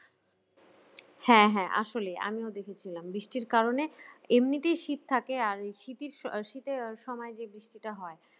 হ্যাঁ হ্যাঁ আসলেই আমিও দেখেছিলাম বৃষ্টির কারণে এমনিতেই শীত থাকে আর শীতের শীতের সময় যেটা হয়